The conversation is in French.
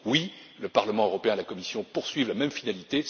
Oui, le Parlement européen et la Commission poursuivent la même finalité.